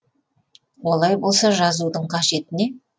олай болса жазудың қажеті не